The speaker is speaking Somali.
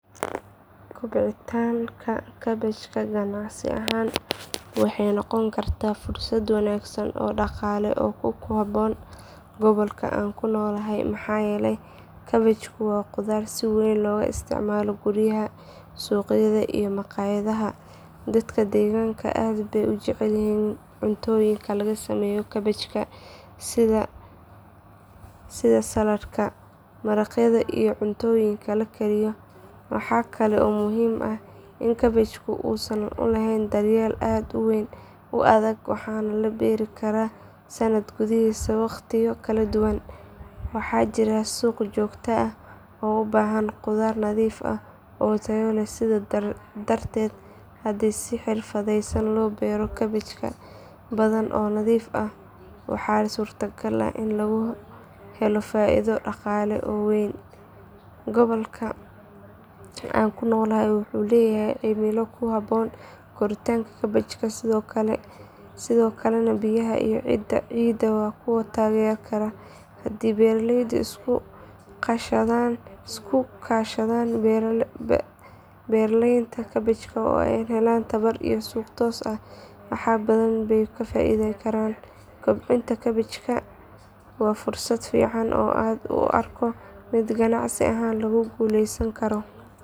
Kobcinta kaabajka ganacsi ahaan waxay noqon kartaa fursad wanaagsan oo dhaqaale oo ku habboon gobolka aan ku noolahay maxaa yeelay kaabajku waa khudaar si weyn looga isticmaalo guryaha, suuqyada iyo makhaayadaha. Dadka deegaanka aad bay u jecel yihiin cuntooyinka laga sameeyo kaabajka sida saladka, maraqyada iyo cuntooyinka la kariyo. Waxa kale oo muhiim ah in kaabajku uusan u baahnayn daryeel aad u adag waxaana la beeri karaa sanadka gudihiisa waqtiyo kala duwan. Waxaa jira suuq joogto ah oo u baahan khudaar nadiif ah oo tayo leh sidaas darteed haddii si xirfadaysan loo beero kaabaj badan oo nadiif ah waxaa suurtagal ah in lagu helo faa’iido dhaqaale oo weyn. Gobolka aan ku noolahay wuxuu leeyahay cimilo ku habboon koritaanka kaabajka sidoo kalena biyaha iyo ciidda waa kuwo taageeri kara. Haddii beeraleyda iska kaashadaan beeralaynta kaabajka oo ay helaan tababar iyo suuq toos ah wax badan bay ka faa’iideyn karaan. Kobcinta kaabajka waa fursad fiican oo aan u arko mid ganacsi ahaan lagu guuleysan karo.